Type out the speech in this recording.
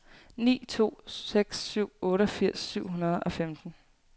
ni to seks syv otteogfirs syv hundrede og femten